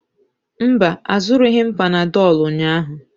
Mba, azụrụghị m panadolu ụnyahụ.